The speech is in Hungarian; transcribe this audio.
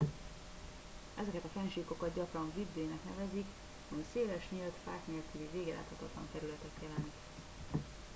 "ezeket a fennsíkokat gyakran "vidde" -nek nevezik ami széles nyílt fák nélküli végeláthatatlan területet jelent.